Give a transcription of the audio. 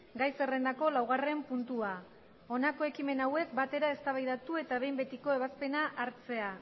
gai zerrendako laugarren puntua honako ekimena hauek batera eztabaidatu eta behin betiko ebazpena hartzea